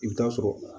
I bɛ taa sɔrɔ